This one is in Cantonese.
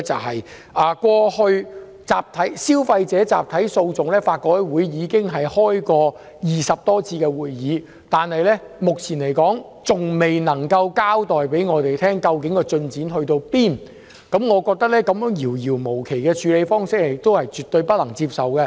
法律改革委員會過去已就消費者集體訴訟召開20多次會議，但目前還未能向我們交代有關進展，我認為這種遙遙無期的處理方式絕對不能接受。